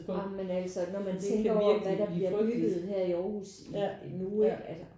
Ej men altså når man tænker over hvad der bliver bygget her i Aarhus i nu ikke altså